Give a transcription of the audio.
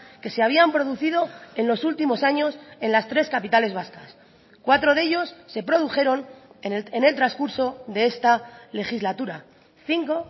que se habían producido en los últimos años en las tres capitales vascas cuatro de ellos se produjeron en el transcurso de esta legislatura cinco